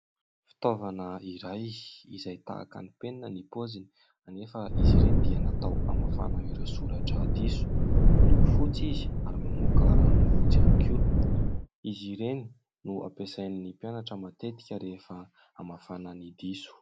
Fitaovana iray izay tahaky ny penina ny paoziny anefa izy ireny dia natao hamafana ireo soratra diso, miloko fotsy izy ary mamoaka ranony fotsy ihany koa, izy ireny no ampiasain'ny mpianatra matetika rehefa hamafana ny diso.